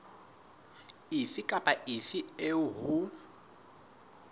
efe kapa efe eo ho